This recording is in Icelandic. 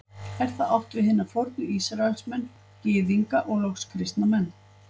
Er þar átt við hina fornu Ísraelsmenn, Gyðinga og loks kristna menn.